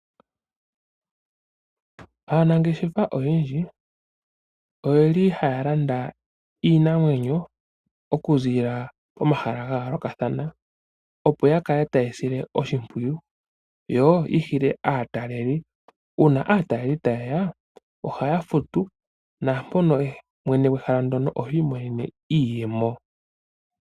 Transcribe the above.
Aanangeshefa oyendji oye li ha ya landa iinamwenyo okuziilila komahala ga yoolokathana, opo ya kale taye yi sile oshipwiyu yoyi hile aataleli, uuna aataleli taye ya ohaya futu naampono mwene gwehala ndyono oha imonene iiyemo.